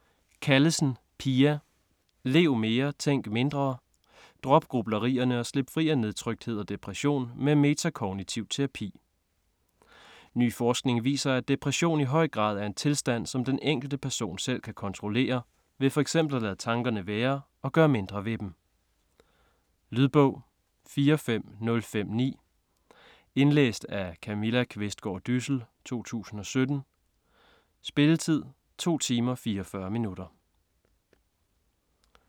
Callesen, Pia: Lev mere tænk mindre: drop grublerierne og slip fri af nedtrykthed og depression med metakognitiv terapi Ny forskning viser, at depression i høj grad er en tilstand som den enkelte person selv kan kontrollere, ved f.eks. at lade tankerne være og gøre mindre ved dem. Lydbog 45059 Indlæst af Camilla Qvistgaard Dyssel, 2017. Spilletid: 2 timer, 44 minutter.